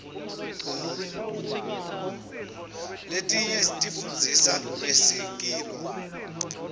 letinye tifundzisa ngesikilo